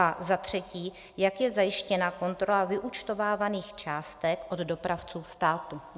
A za třetí: Jak je zajištěna kontrola vyúčtovávaných částek od dopravců státu?